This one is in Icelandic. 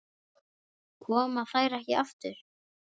Koma þær ekki aftur?